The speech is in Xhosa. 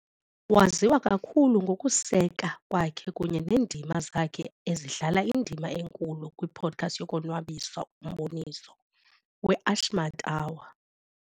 Waziwa kakhulu ngokuseka kwakhe kunye neendima zakhe ezidlala indima enkulu kwipodcast yokonwabisa, umboniso "weAshmed Hour"